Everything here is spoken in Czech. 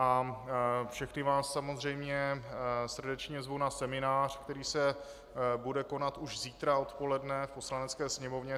A všechny vás samozřejmě srdečně zvu na seminář, který se bude konat už zítra odpoledne v Poslanecké sněmovně.